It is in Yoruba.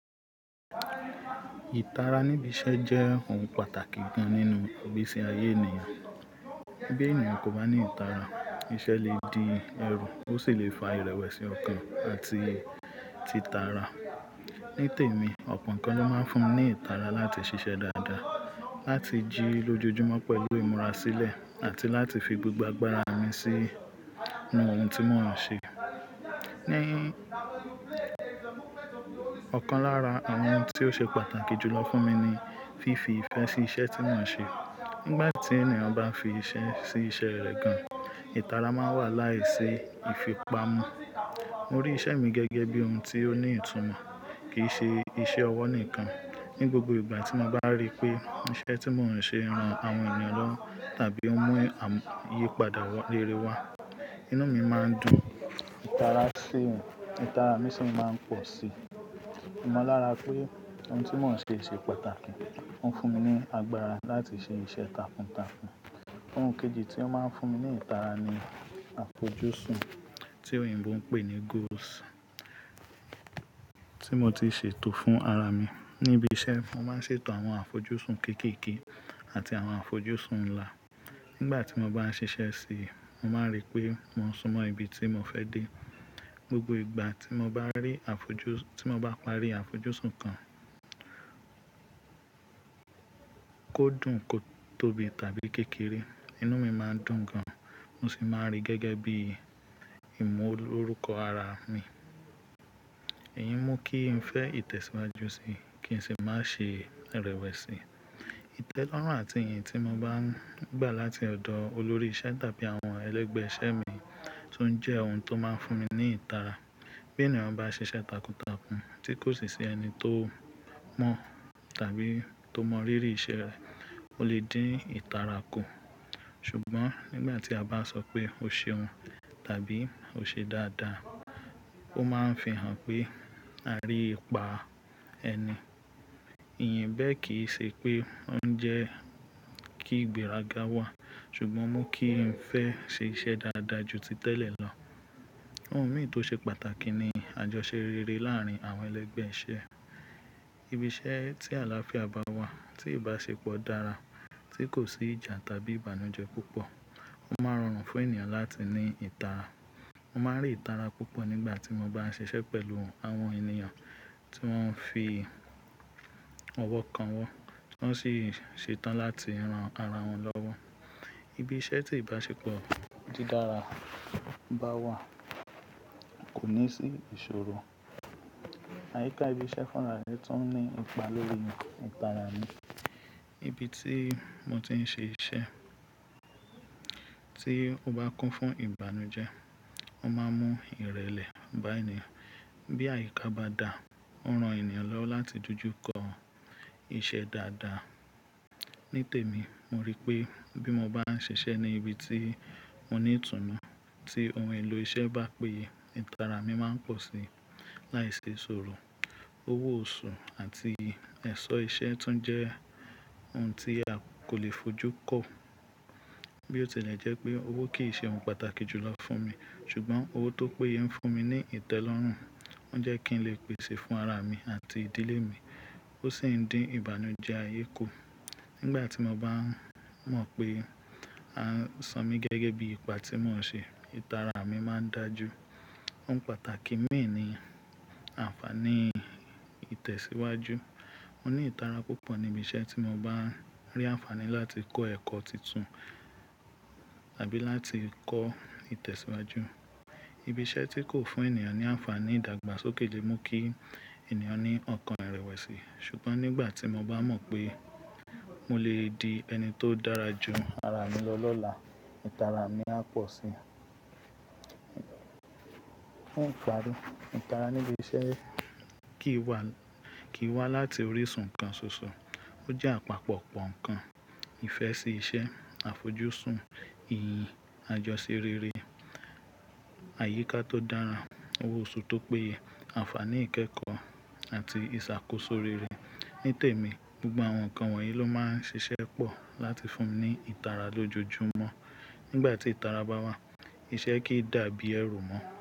Ìtara níbi iṣẹ́ jẹ́ ohun pàtàkì gan nínú gbéṣé ayé ènìyàn. Bí ènìyàn kò bá ní ìtara, iṣẹ́ lè di ẹrù, ó sì lè fa ìrẹ̀wẹ̀sì ọkàn àti títara. Ní tèmi, ọ̀pọ̀ nǹkan ló máa ń fún mi ní ìtara láti ṣiṣẹ́ dáadáa, láti jí lójoojúmọ́ pẹ̀lú ìmúra sílẹ̀, àti láti fi gbogbo agbára mi sí ohun tí mò ń ṣe. Ní ọ̀kan lára àwọn ohun tí ó ṣe pàtàkì jùlọ fún mi ni fífi ìfẹ́ sí iṣẹ́ tí mò ń ṣe. Nígbà tí ènìyàn bá fi ìfẹ́ sí iṣẹ́ rẹ̀ gan, ìtara máa wà láìṣe ìfipamọ́. Mo rí iṣẹ́ mi gẹ́gẹ́ bí ohun tí ó ní ìtùnú, kì í ṣe iṣẹ́ ọwọ́ nìkan. Ní gbogbo ìgbà tí mo bá rí pé iṣẹ́ tí mò ń ṣe ran àwọn ènìyàn lọrun tàbí ó mú ìyípadà rere wá, inú mi máa ń dùn. Ìtara mi sì máa ń pọ̀ sí i. Mo mọ̀ lára pé ohun tí mò ń ṣe ṣe pàtàkì. Ó ń fún mi ní agbára láti ṣe iṣẹ́ takuntakun. Ohun kejì tí ó máa ń fún mi ní ìtara ni àfojúsùn tí òyìnbó ń pè ní goals tí mo ti ṣètò fún ara mi. Níbi iṣẹ́, mo máa ń ṣètò àwọn àfojúsùn kéékèèké àti àwọn àfojúsùn ńlá. Nígbà tí mo bá ṣiṣẹ́ sí i, mo máa rí pé mò ń súnmọ́ ibi tí mo fẹ́ dé. Gbogbo ìgbà tí mo bá rí afoju tí mo bá parí àfojúsùn kan, kó dùn, kó tóbi tàbí kékeré, inú mi máa ń dùn gan. Mo sì máa ń rí gẹ́gẹ́ bí ìmúlorúkọ ara mi. Èyín mú kí n fẹ́ ìtẹ̀síwájú síi, kí n sì má ṣe irẹ̀wẹ̀sì. Ìtẹ́lọ́rùn àti ìyìn tí mo bá ń gbà láti ọ̀dọ̀ olórí iṣẹ́ tàbí àwọn ẹlẹ́gbẹ́ iṣẹ́ mi tuń jẹ́ ohun tó máa ń fún mi ní ìtara. Bí ènìyàn bá ṣe iṣẹ́ takuntakun tí kò sì sí ẹni tó mọ̀ tàbí tó mọ rírì iṣẹ́ rẹ̀, ó lè dín ìtara kù. Ṣùgbọ́n nígbà tí a bá sọ pé ó ṣeun tàbí ó ṣe dáadáa, ó máa ń fi hàn pé a rí ipa ẹni. Ìyin bẹ́ẹ̀ kì í ṣe pé ó ń jẹ́ kí ìgbéraga wà, ṣùgbọ́n mú kí n fẹ́ ṣe iṣẹ́ dáadáa ju ti tẹ́lẹ̀ lọ. Ohun mìíràn tó ṣe pàtàkì ni àjọṣerere láàárín àwọn ẹlẹ́gbẹ́ iṣẹ́. Ibi iṣẹ́ tí àlàáfíà bá wà, tí ìbáṣepọ̀ dára, tí kò sí ìjà tàbí ìbànújẹ́ púpọ̀, ó máa rọrùn fún ènìyàn láti ní ìtara. Mo máa ń rí ìtara púpọ̀ nígbà tí mo bá ń ṣiṣẹ́ pẹ̀lú àwọn ènìyàn tí wọ́n ń fi ọwọ́ kanwọ́, tí wọ́n sì ṣetán láti ran ara wọn lọ́wọ́. Ibi iṣẹ́ tí ìbáṣepọ̀ dí dára bá wà kò ní sí ìṣòro. Àyíká ibi iṣẹ́ fúnra rẹ tún ní ipa lórí ìtara mi. Ibi tí mo ti ń ṣe iṣẹ́ tí ó bá kún fún ìbànújẹ́, ó máa mú ìrẹ̀lẹ̀ bá ẹni. Bí àyíká bá dà, ó ran ènìyàn lọ́wọ́ láti dojúkọ iṣẹ́ dáadáa. Nítèmi, mo rí pé bí mo bá ń ṣiṣẹ́ ní ibi tí mo ní ìtùnú, tí ohun èlò iṣẹ́ bá péye, ìtara mi máa ń pọ̀ sí i. Láìṣe ìṣòro, owó oṣù àti ẹ̀ṣọ́ iṣẹ́ tún jẹ́ ohun tí a kò lè fojú kọ. Bí ó tilẹ̀ jẹ́ pé owó kì í ṣe ohun pàtàkì jùlọ fún mi, ṣùgbọ́n owó tó péye ń fún mi ní ìtẹ́lọ́rùn, ó ń jẹ́ kí n lè pèsè fún ara mi àti ìdílé mi, ó sì ń dín ìbànújẹ́ ayé kù. Nígbà tí mo bá mọ̀ pé a ń sọ mí gẹ́gẹ́ bí ipa tí mò ń ṣe, ìtara mi máa ń dà ju. Ohun pàtàkì mìí ni ànfàní ìtẹ̀síwájú. Mo ní ìtara púpọ̀ níbi iṣẹ́ tí mo bá ń rí ànfàní láti kọ́ ẹ̀kọ́ tuntun tàbí láti kọ́ ìtẹ̀síwájú. Ibi iṣẹ́ tí kò fún ènìyàn ní ànfàní ìdàgbàsókè lè mú kí ènìyàn ní ọkàn ìrẹ̀wẹ̀sì. Ṣùgbọ́n nígbà tí mo bá mọ̀ pé mo lè di ẹni tó dára ju ara mi lọ lọ́la, ìtara mi á pọ̀ sí i. Òǹkà ìtara níbi iṣẹ́ kì í wá láti orísun kan ṣoṣo. Ó jẹ́ àpapọ̀ pọ̀n-ọ̀n-nkan ìfẹ́ sí iṣẹ́, àfojúsùn, ìyìn, àjọṣerere, àyíká tó dára, owó oṣù tó péye, ànfàní ìkẹ́kọ̀ọ́ àti ìṣàkóso rere. Nítèmi, gbogbo àwọn nǹkan wọ̀nyí ló máa ń ṣiṣẹ́ pọ̀ láti fún mi ní ìtara lójoojúmọ́. Nígbà tí ìtara bá wà, iṣẹ́ kì í dàbí ẹrù mọ́.